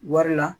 Wari la